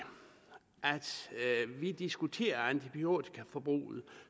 vi diskuterer antibiotikaforbruget